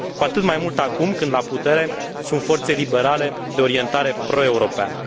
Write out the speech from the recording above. Cu atât mai mult acum când la putere sunt forțe liberale de orientare proeuropeană.